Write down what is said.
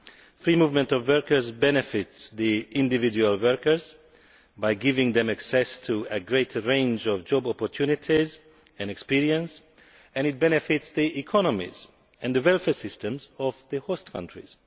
The free movement of workers benefits individual workers by giving them access to a greater range of job opportunities and experience, and it also benefits the economies and welfare systems of the host countries.